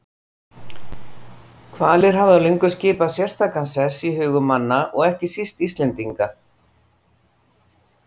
Hvalir hafa löngum skipað sérstakan sess í hugum manna og ekki síst Íslendinga.